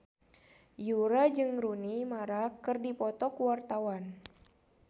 Yura jeung Rooney Mara keur dipoto ku wartawan